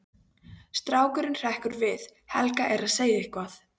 Strákurinn hrekkur við, Helga er að segja eitthvað.